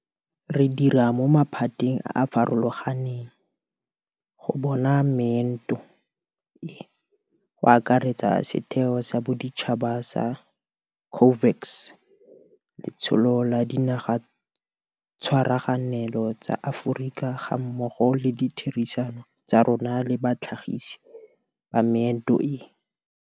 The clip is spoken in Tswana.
Re dira mo maphateng a a farologang go bona meento e, go akaretsa setheo sa boditšhaba sa COVAX, letsholo la Dinagatshwaraganelo tsa Aforika gammogo le ditherisano tsa rona le batlhagisi ba meento e.